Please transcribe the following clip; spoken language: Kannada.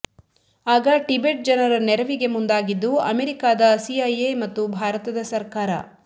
ಆಗ ಟಿಬೆಟ್ ಜನರ ನೆರವಿಗೆ ಮುಂದಾಗಿದ್ದು ಅಮೆರಿಕಾದ ಸಿಐಎ ಮತ್ತು ಭಾರತದ ಸರ್ಕಾರ